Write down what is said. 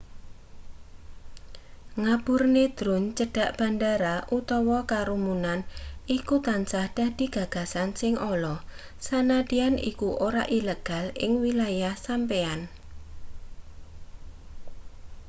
ngaburne drone cedhak bandara utawa kerumunan iku tansah dadi gagasan sing ala sanadyan iku ora ilegal ing wilayah sampeyan